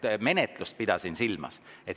Ma pidasin silmas menetlust.